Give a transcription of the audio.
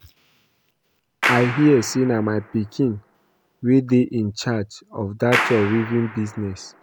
I hear say na my pikin wey dey in charge of dat your weaving business